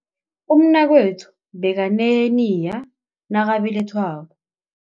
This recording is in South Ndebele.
Umnakwethu bekaneheniya nakabelethwako.